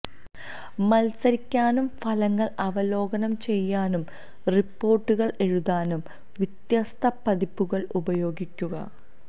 മത്സരിക്കാനും ഫലങ്ങൾ അവലോകനം ചെയ്യാനും റിപ്പോർട്ടുകൾ എഴുതാനും വ്യത്യസ്ത പതിപ്പുകൾ ഉപയോഗിക്കുക